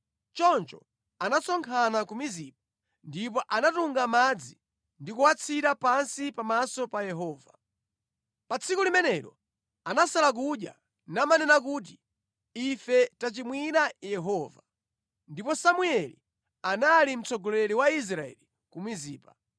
Choncho anasonkhana ku Mizipa, ndipo anatunga madzi ndi kuwathira pansi pamaso pa Yehova. Pa tsiku limenelo anasala kudya namanena kuti, “Ife tachimwira Yehova.” Ndipo Samueli anali mtsogoleri wa Israeli ku Mizipa.